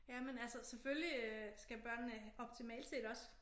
Ja men altså selvfølgelig øh skal børnene optimalt set også